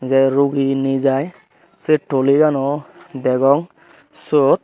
tey rugi nejai sey tuligano degong sot.